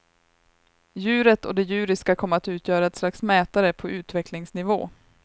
Djuret och det djuriska kom att utgöra ett slags mätare på utvecklingsnivå.